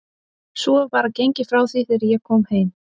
Svo var bara gengið frá því þegar ég kom heim?